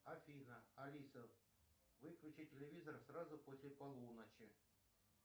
афина алиса выключи телевизор сразу после полуночи